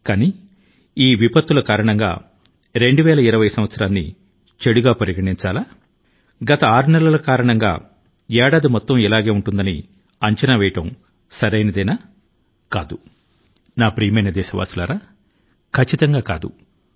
కానీ ప్రశ్న ఏమిటి అంటే 2020 వ సంవత్సరం మంచిది కాదనే విస్వాశాన్ని మనం కొనసాగించాలా మొదటి ఆరు నెలల్లో పరిస్థితి ఆధారం గా మొత్తం సంవత్సరం అలాగే ఉంటుందని ఊహించడం ఎంతవరకు సరైంది నా ప్రియమైన దేశవాసులారా ఖచ్చితం గా ఇది సరి కాదు